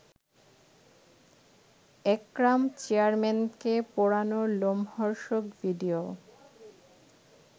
একরাম চেয়ারম্যানকে পোড়ানোর লোমহর্ষক ভিডিও